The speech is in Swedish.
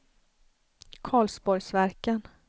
Karlsborgsverken